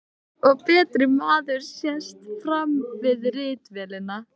Nýr og betri maður sest framan við ritvélina.